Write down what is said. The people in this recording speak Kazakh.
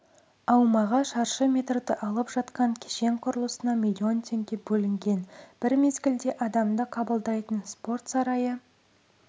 аумағы шаршы метрді алып жатқан кешен құрылысына миллион теңге бөлінген бір мезгілде адамды қабылдайтын спорт сарайы